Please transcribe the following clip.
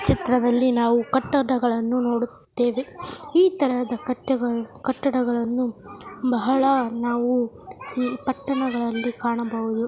ಈ ಚಿತ್ರದಲ್ಲಿ ನಾವು ಕಟ್ಟಡಗಳನ್ನು ನೋಡುತ್ತಿದ್ದೇವೆ ಈ ತರಹದ ಕಟ್ಟೆಗಳು ಕಟ್ಟಡಗಳನ್ನು ಬಹಳ ನಾವು ಸಿ ಪಟ್ಟಣಗಳಲ್ಲಿ ಕಾಣಬಹುದು .